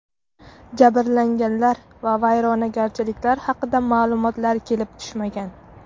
Jabrlanganlar va vayronagarchiliklar haqida ma’lumotlar kelib tushmagan.